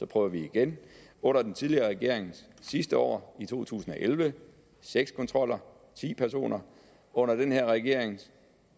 prøver igen under den tidligere regerings sidste år i 2011 seks kontroller ti personer under den her regerings